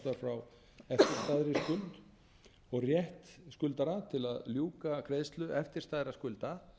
eftirstæðri skuld og rétt skuldara til að ljúka greiðslu eftirstæðra skulda